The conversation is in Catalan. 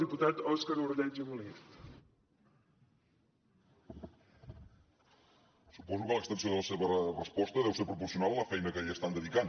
suposo que l’extensió de la seva resposta deu ser proporcional a la feina que hi estan dedicant